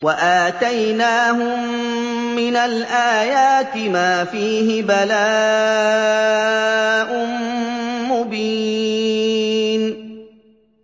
وَآتَيْنَاهُم مِّنَ الْآيَاتِ مَا فِيهِ بَلَاءٌ مُّبِينٌ